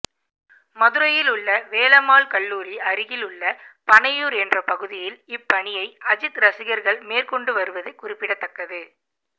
மதுரையில் உள்ள வேலம்மாள் கல்லூரி அருகில் உள்ள பனையூர் என்ற பகுதியில் இப்பணியை அஜித் ரசிகர்கள் மேற்கொண்டு வருவது குறிப்பிடத்தக்கது